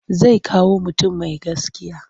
Zai kawo mutum mai gaskiya.